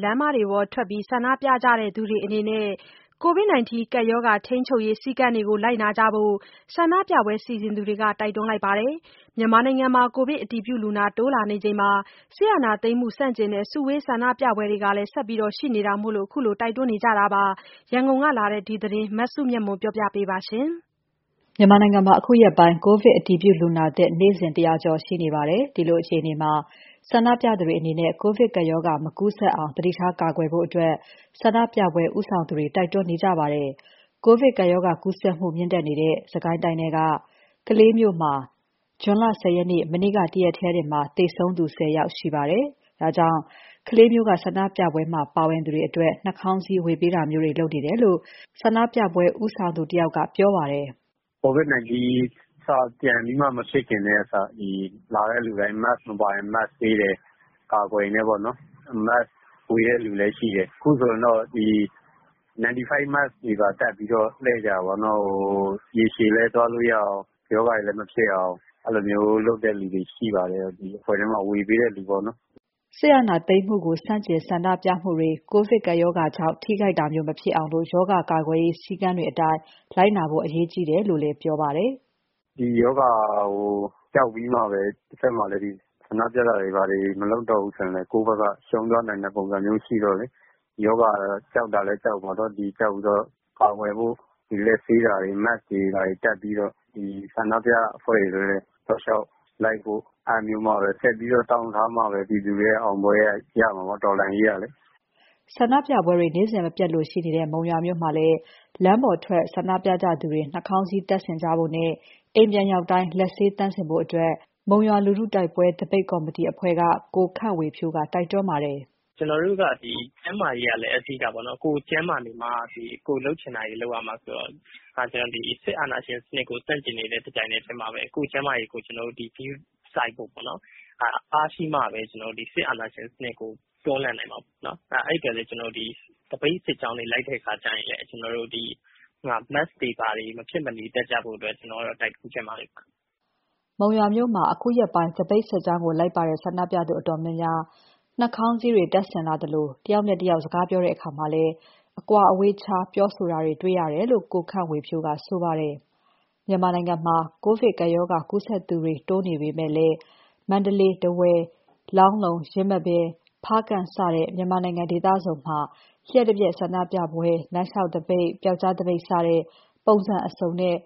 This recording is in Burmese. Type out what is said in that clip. လမ်းပေါ်ထွက် ဆန္ဒပြကြသူတွေအနေနဲ့ ကိုဗစ်ရောဂါထိန်းချုပ်ရေးစည်းကမ်းတွေ လိုက်နာကြဖို့ ဆန္ဒပြပွဲ စီစဉ်သူတွေက တိုက်တွန်းနေပါတယ်။ မြန်မာနိုင်ငံမှာ ကိုဗစ်အတည်ပြုလူနာ တိုးနေချိန်မှာ စစ်အာဏာသိမ်းမှု ဆန့်ကျင်တဲ့ စုဝေးဆန္ဒပြပွဲတွေလည်း ဆက်ရှိနေတာမို့ ခုလိုတိုက်တွန်းနေကြတာပါ။ ရန်ကုန်ကလာတဲ့ ဒီသတင်းကို မစုမြတ်မွန်က ပြောပြပါမယ်။ မြန်မာနိုင်ငံမှာ အခုရက်ပိုင်း ကိုဗစ်အတည်ပြုလူနာသစ် နေ့စဉ် ၁၀၀ ကျော်ရှိနေပါတယ်။ ဒီလိုအခြေအနေမှာ ဆန္ဒပြသူတွေအနေနဲ့ ကိုဗစ်ရောဂါ မကူးစက်အောင် သတိထား ကာကွယ်ဖို့ ဆန္ဒပြပွဲဦးဆောင်သူတွေက တိုက်တွန်းနေကြပါတယ်။ ကိုဗစ်ကပ်ရောဂါကူးစက်မှု မြင့်တက်နေတဲ့ စစ်ကိုင်းတိုင်းထဲက ကလေးမြို့မှာ ဇွန်လ ၁၀ ရက် မနေ့က တရက်တည်းတင် သေဆုံးသူ ၁၀ ဦးရှိပါတယ်။ ဒါကြောင့် ကလေးမြို့က ဆန္ဒပြပွဲမှာ ပါဝင်သူတွေအတွက် နှာခေါင်းစည်းဝေပေးတာမျိုးလုပ်နေတယ်လို့ ကလေးမြို့က ဆန္ဒပြပွဲ ဦးဆောင်သူတဦးက ပြောပါတယ်။ “ကိုဗစ်-၁၉ စ ပြန်ပြီးမဖြစ်ခင်တုန်းက ဒီ(ဆန္ဒ)လာတဲ့လူတိုင်း Mask မပါရင် Mask ပေးတယ်၊ အကာအကွယ်တွေနဲ့ပေါ့နော်၊ Mask ဝေတဲ့လူလည်း ရှိတယ်၊ အခုဆိုရင်တော့ ဒီ 95 Mask တွေ တပ်ပြီးတော့ လှည့်ကြတယ်ပေါ့နော်၊ နောက်ရေရှည်လည်း သွားလို့ရအောင် ရောဂါတွေလည်း မဖြစ်အောင် အဲ့လိုလုပ်တဲ့လူလည်းရှိပါတယ်၊ ဒီအဖွဲ့ထဲမှာ ဝေပေးတဲ့ လူပေါ့နော်။” စစ်အာဏာသိမ်းမှုကို ဆန့်ကျင်ဆန္ဒပြမှုတွေ ကိုဗစ်ကပ်ရောဂါကြောင့် ထိခိုက်တာမျိုး မဖြစ်အောင် ရောဂါကာကွယ်ရေး စည်းကမ်းတွေအတိုင်း လိုက်နာဖို့ အရေးကြီးတယ်လို့လည်း ပြောပါတယ်။ “ဒီရောဂါကို ကြောက်ပြီးမှပဲ တဖက်မှာလည်း ဒီဆန္ဒပြတာတွေဘာတွေ မလုပ်တော့ဘူးဆိုရင်လည်း ကိုယ့်ဘက်က ရှုံးသွားနိုင်တဲ့ ပုံစံမျိုးရှိတော့လေ၊ ရောဂါကြောက်တာလည်းကြောက်ပေါ့နော် ဒီကြောက်ပြီးတော့ ကာကွယ်ဖို့ လက်ဆေးတာတွေ Mask တွေ ဘာတွေ တပ်ပြီးတော့ ဒီဆန္ဒပြအဖွဲ့တွေလည်း တောက်လျှောက်လိုက်ဖို့ အဲ့ဒါမျိုးမှာပဲ ဆက်ပြီးတော့ တောင့်ထားမှာပဲ ပြည်သူတွေရဲ့ အောင်ပွဲရမှာပေါ့ တော်လှန်ရေးကလေ။” ဆန္ဒပြပွဲတွေ နေ့စဉ်မပြတ်လိုရှိနေတဲ့ မုံရွာမြို့မှာလည်း လမ်းပေါ်ထွက်ဆန္ဒပြကြသူတွေ နှာခေါင်းစည်တပ်ဆင်ကြဖို့နဲ့ အိမ်ပြန်ရောက်ရင် လက်ဆေးသန့်စင်ဖို့ မုံရွာလူထုတိုက်ပွဲ သပိတ်ကော်မတီအဖွဲ့ဝင် ကိုခန့်ဝေဖြိုးက တိုက်တွန်းထားပါတယ်။ “ကျနော်တို့က ဒီကျန်းမာရေးကလည်း အဓိကပေါ့နော်၊ ကိုယ်ကျန်းမာနေမှ ကိုယ်လုပ်ချင်တာတွေ လုပ်ရမှာဆိုတော့ ဒီစစ်အာဏာရှင်စနစ်ကို ဆန့်ကျင်နေတဲ့ တပြိုင်နက်တည်းမှာပဲ ကိုယ့်ကျန်းမာရေးကို ကျနော်တို့ ဂရုစိုက်ဖို့ပေ့ါနော်၊ အားရှိမှပဲ ကျနော်တို့ ဒီစစ်အာဏာရှင်စနစ်ကို တွန်းလှန်နိုင်မှာပေါ့နော်၊ အဲ့အတွက်ကို ကျနော်တို့ ဒီသပိတ်စစ်ကြောင်းကို လိုက်တဲ့အခါကျရင်လည်း ကျနော်တို့ Mask တွေ ဘာတွေ မဖြစ်မနေတပ်ကြဖို့အတွက် ကျနော်ကတော့ တိုက်တွန်းချင်ပါတယ်။” မုံရွာမှာ အခုရက်ပိုင်း သပိတ်စစ်ကြောင်းကို လိုက်ပါတဲ့ ဆန္ဒပြသူအတော်များများ နှားခေါင်းစည်းကို တပ်ဆင်လာသလို ကိုဗစ်ရောဂါကို ထူးထူးခြားခြားကာကွယ်တာမျိုးမရှိပေမယ့် တယာက်နဲ့တယောက်စကားပြောတဲ့အခါ အကွာအဝေးခြားပြောဆိုတာတွေ တွေ့ရတယ်လို့ ကိုခန့်ဝေဖြိုးက ဆိုပါတယ်။ ကိုဗစ်ကပ်ရောဂါကူးစက်သူတွေ တိုးနေပေမဲ့လည်း မန္တလေး၊ ထားဝယ်၊ လောင်းလုံး၊ ယင်းမာပင်၊ ဖားကန့် စတဲ့ မြန်မာနိုင်ငံ ဒေသစုံမှာ လ ျှပ်တပြက် ဆန္ဒပြပွဲတွေ လမ်းလျှောက်သပိတ် ပျောက်ကျားသပိတ် စသဖြင့် ပုံစံအစုံနဲ့